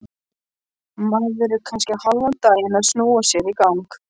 Maður er kannski hálfan daginn að snúa sér í gang.